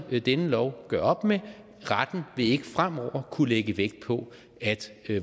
denne lov gør op med retten vil ikke fremover kunne lægge vægt på at